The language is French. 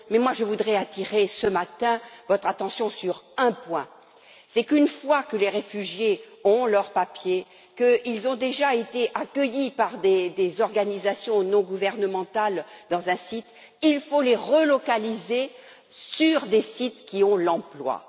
Mais moi, je voudrais attirer ce matin votre attention sur un point une fois que les réfugiés ont leurs papiers, qu'ils ont été accueillis par des organisations non gouvernementales sur un site, il faut les relocaliser vers des sites qui offrent des emplois.